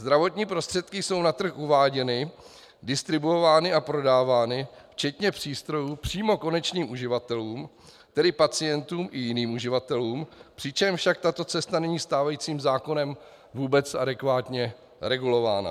Zdravotní prostředky jsou na trh uváděny, distribuovány a prodávány včetně přístrojů přímo konečným uživatelům, tedy pacientům i jiným uživatelům, přičemž však tato cesta není stávajícím zákonem vůbec adekvátně regulována.